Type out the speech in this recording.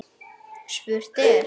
Spurt er?